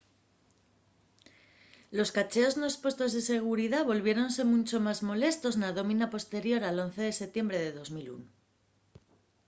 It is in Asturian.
los cacheos nos puestos de seguridá volviéronse muncho más molestos na dómina posterior al 11 de setiembre de 2001